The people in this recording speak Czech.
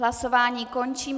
Hlasování končím.